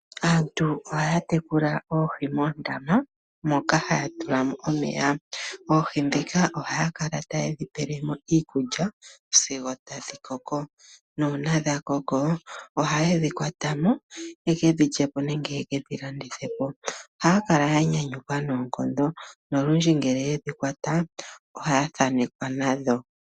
Aantu ohaya tekula oohi moondama moka haya tulamo omeya. Oohi ndhika ohaya kala tayedhi pelemo iikulya sigo tadhi koko nuuna dha koko ohaye dhikwatamo yeke dhilandithepo nenge yedhilyep. Ohaya kala yanyanyukwa noonkondo nongele yedhi kwata ohaya thanekwa nadho.